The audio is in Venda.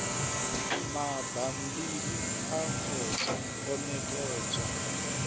mabammbiri a khothe o ṋekedzwa